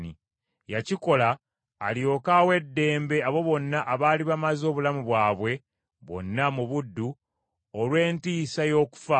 Yakikola alyoke awe eddembe abo bonna abaali bamaze obulamu bwabwe bwonna mu buddu olw’entiisa y’okufa.